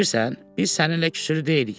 Bilirsən, biz səninlə küsülü deyilik.